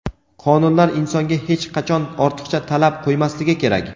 qonunlar insonga hech qachon ortiqcha talab qoʼymasligi kerak.